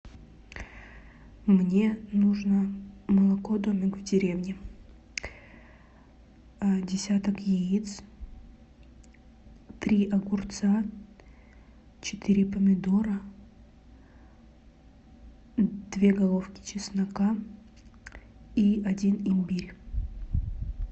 мне нужно молоко домик в деревне десяток яиц три огурца четыре помидора две головки чеснока и один имбирь